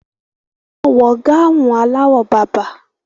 Wọ́n wọ gáhùn aláwọ̀ bàbà.